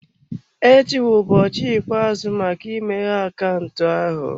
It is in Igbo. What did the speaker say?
Echi bụ ụbọchị ikpeazụ maka imeghe akaụntụ ahụ.